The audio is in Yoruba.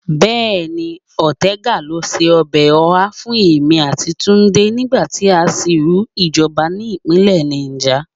Bẹ́ẹ̀ni, Ọ̀tẹgà ló se ọbẹ̀ ọhá fún èmi àti Túndé nígbà tí à ń sìnrú ìjọba ni ìpínlẹ̀ Náíjà